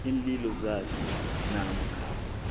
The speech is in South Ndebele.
iinlilo zakhe namkha